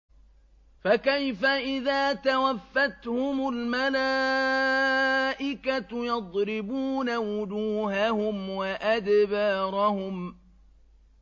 فَكَيْفَ إِذَا تَوَفَّتْهُمُ الْمَلَائِكَةُ يَضْرِبُونَ وُجُوهَهُمْ وَأَدْبَارَهُمْ